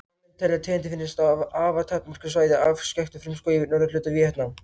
Fræðimenn telja að tegundin finnist á afar takmörkuðu svæði í afskekktum frumskógi í norðurhluta Víetnam.